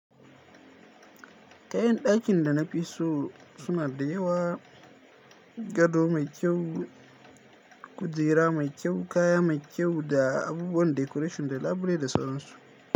Kayan dakin da na fi so suna da yawa gado mai kyau, kujera mai kyau, kaya mai kyau da abubuwan decoration da labule da sauran su.